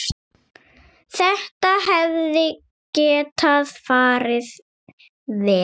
Þetta hefði getað farið verr.